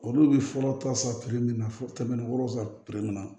Olu bɛ furaw ta san min na fɔ kɛmɛ ni wolonfu na